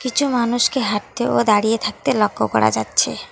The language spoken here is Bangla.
কিছু মানুষকে হাঁটতে ও দাঁড়িয়ে থাকতে লক্ষ করা যাচ্ছে।